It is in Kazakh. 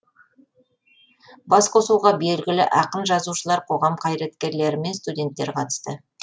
басқосуға белгілі ақын жазушылар қоғам қайраткерлері мен студенттер қатысты